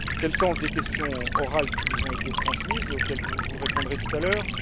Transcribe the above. c'est le sens des questions orales qui vous ont été transmises et auxquelles vous répondrez tout à l'heure.